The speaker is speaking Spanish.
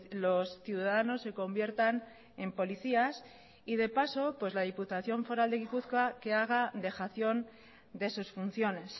los ciudadanos se conviertan en policías y de paso la diputación foral de gipuzkoa que haga dejación de sus funciones